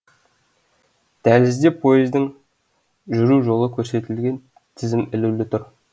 дәлізде поездың жүру жолы көрсетілген тізім ілулі тұр